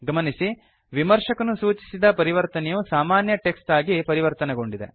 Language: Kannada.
ಗಮನಿಸಿ ವಿಮರ್ಶಕನು ಸೂಚಿಸಿದ ಪರಿವರ್ತನೆಯು ಸಾಮಾನ್ಯ ಟೆಕ್ಸ್ಟ್ ಆಗಿ ಪರಿವರ್ತನೆಗೊಂಡಿದೆ